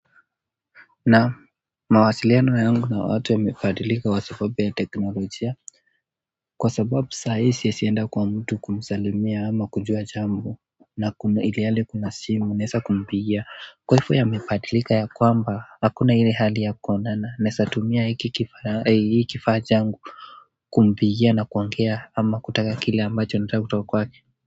Na mawasiliano yangu na watu yamebadilika kwa sababu ya teknolojia kwa sababu sahii siwezi enda kwa mtu kumsalimia ama kujua jambo na ilhali kuna simu naeza kumpigia kwa hivyo yamebadilika ya kwamba hakuna ile hali ya kuonana naweza tumia hii kifaa changu. Kumpigia na kuongea ama kutaka kile ambacho nataka kutoka kwake.